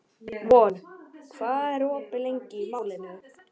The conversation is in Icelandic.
Von, hvað er opið lengi í Málinu?